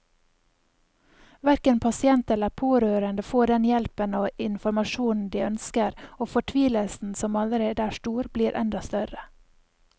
Hverken pasient eller pårørende får den hjelpen og informasjonen de ønsker, og fortvilelsen som allerede er stor, blir enda større.